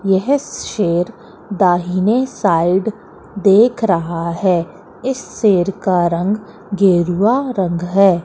यह शेर दाहिने साइड देख रहा है इस शेर का रंग गेरुवा रंग है।